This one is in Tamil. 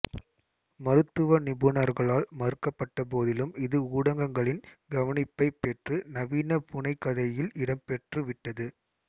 மருத்துவ நிபுணர்களால் மறுக்கப்பட்ட போதிலும் இது ஊடங்களின் கவனிப்பைப் பெற்று நவீன புனைகதையில் இடம் பெற்று விட்டது